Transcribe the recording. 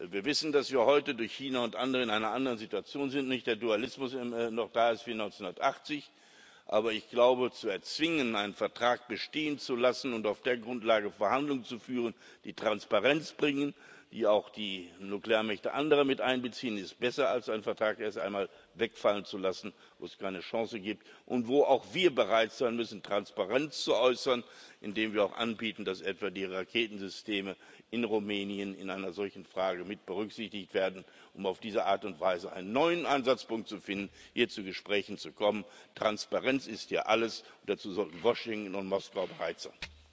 Wir wissen, dass wir heute durch China und andere in einer anderen Situation sind, dass nicht der Dualismus noch da ist wie 1980. Aber ich glaube, zu erzwingen, einen Vertrag bestehen zu lassen und auf der Grundlage Verhandlungen zu führen, die Transparenz bringen, die auch die anderen Nuklearmächte miteinbeziehen, ist besser als einen Vertrag erst einmal wegfallen zu lassen, wo es keine Chance gibt und wo auch wir bereit sein müssen, Transparenz zu äußern, indem wir auch anbieten, dass etwa die Raketensysteme in Rumänien in einer solchen Frage mitberücksichtigt werden, um auf diese Art und Weise einen neuen Ansatzpunkt zu finden, hier zu Gesprächen kommen. Transparenz ist hier alles, und dazu sollten Washington und Moskau bereit sein.